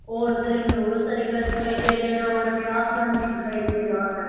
और हमें इधर बहुत सारे घर दिखाई देरे है और हमें आसमान भी दिखाई दे रहा है।